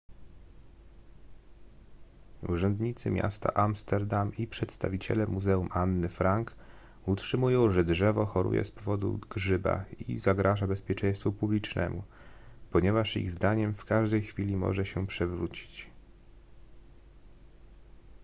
urzędnicy miasta amsterdam i przedstawiciele muzeum anny frank utrzymują że drzewo choruje z powodu grzyba i zagraża bezpieczeństwu publicznemu ponieważ ich zdaniem w każdej chwili może się przewrócić